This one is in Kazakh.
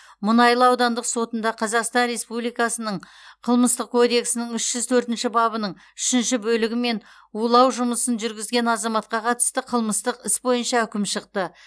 мұнайлы аудандық сотында қазақстан республикасының қылмыстық кодексінің үш жүз төртінші бабының үшінші бөлігімен улау жұмысын жүргізген азаматқа қатысты қылмыстық іс бойынша үкім шықты